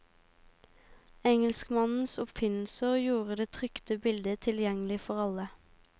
Engelskmannens oppfinnelser gjorde det trykte bildet tilgjengelig for alle.